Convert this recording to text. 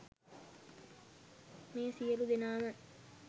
මේ සියලු දෙනාම